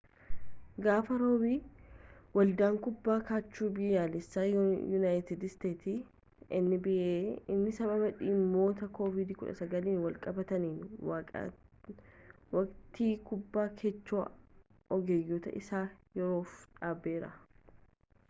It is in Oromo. gaafa roobii ‘waldaan kubbaa kaachoo biyyaalessaa yuunaayitid isteetsi nba’n sababa dhimmoota covid-19n walqabatanniitiin waqtii kubbaa kaachoo ogeeyyotaa isaa yeroof dhaabeera